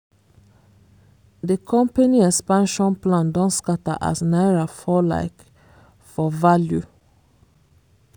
the company expansion plan don scatter as naira fall like for value.